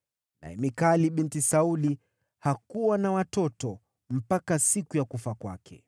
Naye Mikali binti Sauli hakuwa na watoto mpaka siku ya kufa kwake.